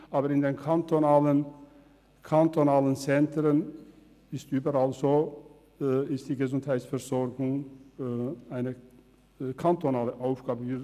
Aber in den kantonalen Zentren ist die Gesundheitsversorgung eine kantonale Aufgabe.